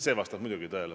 See vastab muidugi tõele.